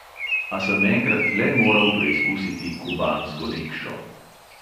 A sem enkrat le moral preizkusiti kubansko rikšo.